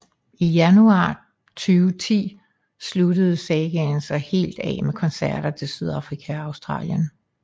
I januar 2010 sluttes sagaen så helt af med koncerter til Sydafrika og Australien